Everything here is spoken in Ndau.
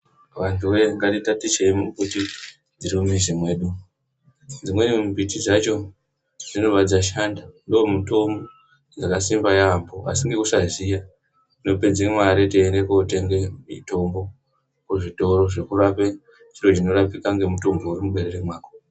Vantuwe ngatitaticheyi mumbiti dziri mumuzi mwedu, dzimweni mumbiti dzacho dzinobva dzashanda ndomutombo dzakasimba yambo asi ngekusaziya tinopedze mare teiende kotenge mitombo kuzvitoro zvekurape chiro chinorapika ngemutombo uri muberere mwako.